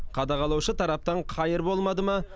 қадағалаушы тараптан қайыр болмады ма